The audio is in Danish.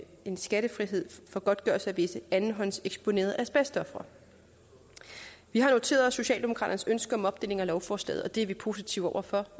en skattefrihed for godtgørelse af visse andenhåndseksponerede asbestofre vi har noteret os socialdemokraternes ønske om opdeling af lovforslaget og det er vi positive over for